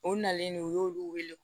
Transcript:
O nalen u y'olu wele